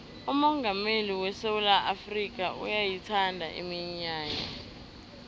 umongameli wesewula afrikha uyayithanda iminyanya